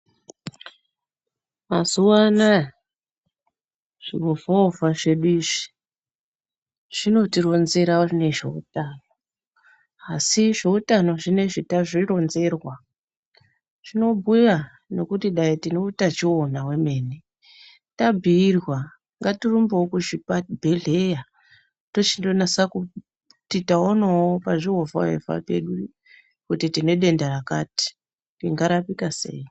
Mazuwa anaya zviovhaovha zvedu izvi zvinotironzera nezveutano asi zveutano zvinoizvi tazvironzerwa zvinobhuya nekuti dai tineutachiwona wemene tabhuyirwa ngatirumbewo kuzvibhehleya tochindonasa kuti taonawo pazviovhaovha pedu kuti tine denda rakati ringarapika sei?